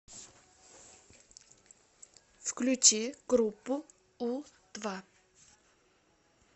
включи группу у два